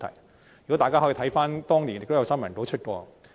詳情大家可以翻查當年的新聞稿。